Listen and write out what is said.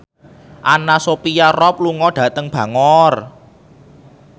Anna Sophia Robb lunga dhateng Bangor